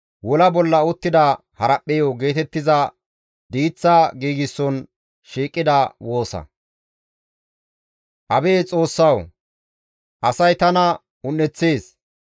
Ta morkketi ubbaa gallas tana yedeththeettes; daroti otoreteththan tana oleettes.